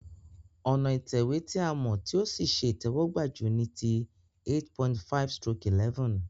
Ònà ìtẹ̀wé ti a mò tí o sí se ìtéwógbà ju niti 8.5/11